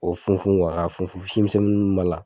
O funfun ka funfun si misɛnin minnu b'a la.